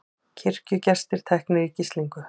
Kirkjugestir teknir í gíslingu